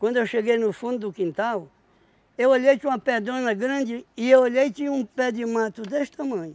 Quando eu cheguei no fundo do quintal, eu olhei, tinha uma pedrona grande, e eu olhei, tinha um pé de mato desse tamanho.